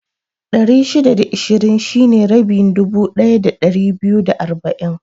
Ɗari shida da ishirin shine rabin dubu ɗaya da ɗari biyu da arba'in